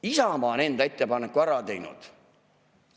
Isamaa on enda ettepaneku ära teinud.